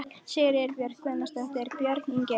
Sigríður Björk Guðjónsdóttir: Björn Ingi?